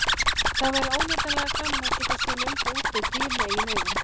Það væri óneitanlega gaman að geta séð löngu útdauð dýr með eigin augum.